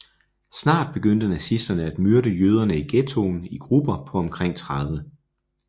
Snart begyndte nazisterne at myrde jøderne i ghettoen i grupper på omkring 30